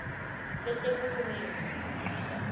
letebulungiswa